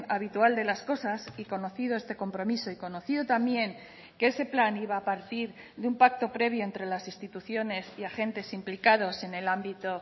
habitual de las cosas y conocido este compromiso y conocido también que ese plan iba a partir de un pacto previo entre las instituciones y agentes implicados en el ámbito